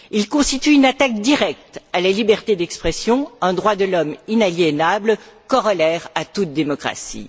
Ils constituent une attaque directe à la liberté d'expression, un droit de l'homme inaliénable, corollaire à toute démocratie.